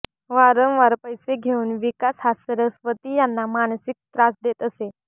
वारंवार पैसे घेऊन विकास हा सरस्वती यांना मानसिक त्रास देत असे